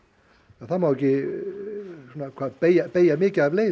það má ekki beygja beygja mikið af leið